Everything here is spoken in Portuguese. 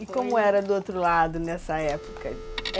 E como era do outro lado nessa época?